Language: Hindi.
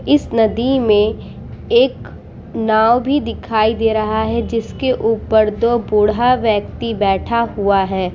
इस नदी में एक नाव भी दिखाई दे रहा है जिस के ऊपर दो बूढ़ा व्यक्ति बैठा हुआ है ।